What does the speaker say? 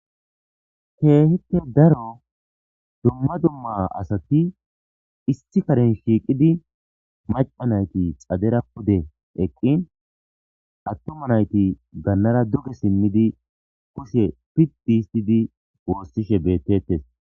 keehipe daro dumma dumma asati issi karen shiiqidi macca nayti xadera pude eqqin attoma nayti gannara duge simmidi koshe piddihistidi woossishe bettettes